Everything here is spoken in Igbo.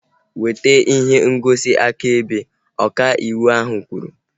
Weta ihe ngosi akaebe! Ọka ịwụ ahu kwuru